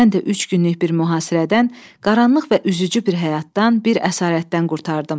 Mən də üç günlük bir mühasirədən, qaranlıq və üzücü bir həyatdan, bir əsarətdən qurtardım.